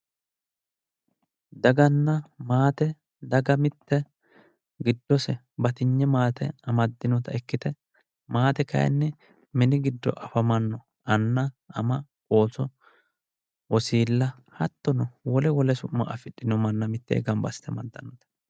Daganna maate daga mitte giddose batinye maate amaddinota ikkite maate kayinni mini giddo afamanno anna ama ooso wosiilla wole wole su'ma afidhino manna mittee gamba assite amaddannote